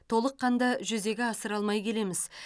толыққанды жүзеге асыра алмай келеміз